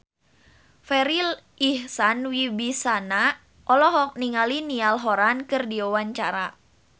Farri Icksan Wibisana olohok ningali Niall Horran keur diwawancara